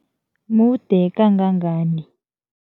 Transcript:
Mude kangangani?